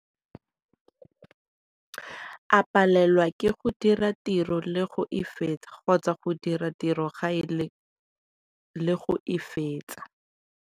A palelwa ke go dira tiro le go e fetsa kgotsa go dira tiro gae le go e fetsa.